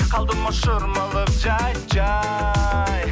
қалдым ау шырмалып жәй жәй